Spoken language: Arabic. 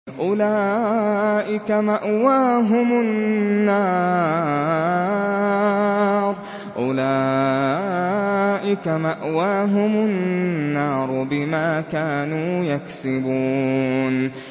أُولَٰئِكَ مَأْوَاهُمُ النَّارُ بِمَا كَانُوا يَكْسِبُونَ